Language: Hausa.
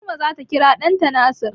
Fatima zata kira ɗanta da Nasir.